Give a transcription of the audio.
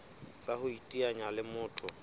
tsa ho iteanya le motho